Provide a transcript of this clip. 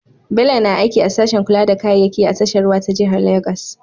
Bello na aiki a sashen kula da kayayyaki a tashar ruwa ta jihar Legas.